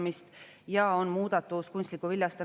Muudatusettepanek nr 3 puudutab andmete kandmist rahvastikuregistrisse.